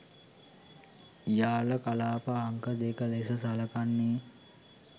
යාල කලාප අංක දෙක ලෙස සලකන්නේ